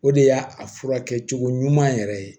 O de y'a a furakɛcogo ɲuman yɛrɛ ye